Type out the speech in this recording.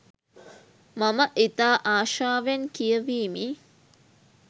මම ඉතා ආශාවෙන් කියවීමි.